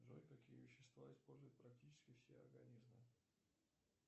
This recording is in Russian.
джой какие вещества используют практически все организмы